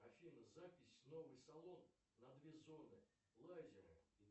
афина запись в новый салон на две зоны лазером